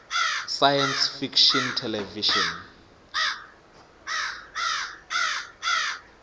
science fiction television